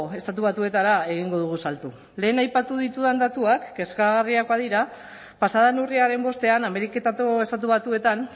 estatu batuetara egingo dugu salto lehen aipatu ditudan datuak kezkagarriak badira pasa den urriaren bostean ameriketako estatu batuetan